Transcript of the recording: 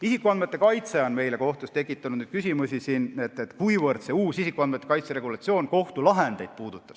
Isikuandmete kaitse on kohtus tekitanud küsimusi, et kuivõrd uus isikuandmete kaitse regulatsioon kohtulahendeid puudutab.